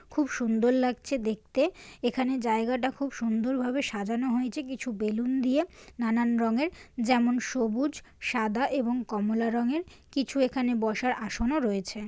খুব সুন্দর লাগছে দেখতে এখানে জায়গাটা খুব সুন্দরভাবে সাজানো হয়েছে কিছু বেলুন দিয়ে নানান রঙের যেমন সবুজ সাদা এবং কমোলা রঙের কিছু এখানে বসার আসনও রয়েছে।